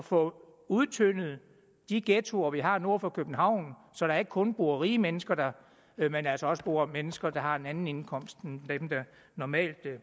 få udtyndet de ghettoer vi har nord for københavn så der ikke kun bor rige mennesker der men altså også bor mennesker der har en anden indkomst end dem der normalt